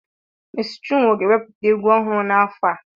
Mèési chinwo ga eweputa egwu ohuru na afo a